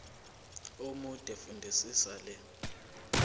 omude fundisisa le